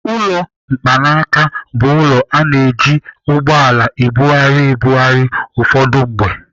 Ụlọ mkpanaaka bụ ụlọ a na-eji ụgbọala ebugharị ebugharị ụfọdụ mgbe.